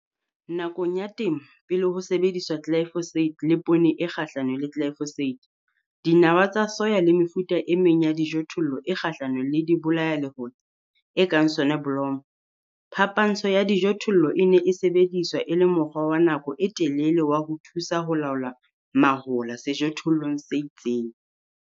Nakong ya temo pele ho sebediswa glyphosate le poone e kgahlanong le glyphosate, dinawa tsa soya le mefuta e meng ya dijothollo e kgahlanong le dibolayalehola, e kang soneblomo, phapantsho ya dijothollo e ne e sebediswa e le mokgwa wa nako e telele wa ho thusa ho laola mahola sejothollong se itseng.